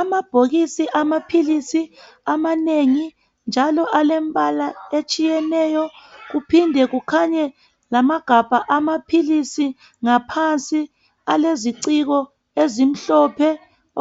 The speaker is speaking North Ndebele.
Amabhokisi amaphilisi amanengi njalo alembala etshiyeneyo kuphinde kukhanye lamagabha amaphilisi ngaphansi aleziciko ezimhlophe